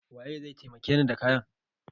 Waye zai taimake ni da kayan?